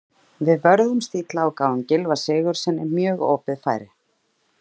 Við vörðumst illa og gáfum Gylfa Sigurðssyni mjög opið færi.